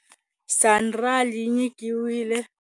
Sanral yi nyikiwile.